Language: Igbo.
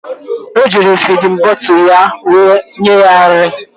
Eji m fidin bọtụlu ya were nye ya nri